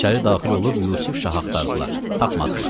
İçəri daxil olub Yusuf Şahı axtardılar, tapmadılar.